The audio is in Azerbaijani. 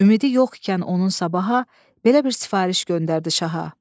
Ümidi yoxkən onun sabaha, belə bir sifariş göndərdi şaha: